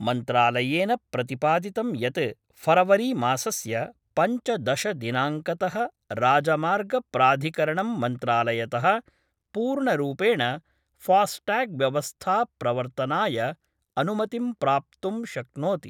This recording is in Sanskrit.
मन्त्रालयेन प्रतिपादितं यत् फरवरीमासस्य पञ्चदशदिनांकत: राजमार्ग प्राधिकरणं मन्त्रालयत: पूर्णरूपेण फास्टैगव्यवस्था प्रवर्तनाय अनुमतिं प्राप्तुं शक्नोति।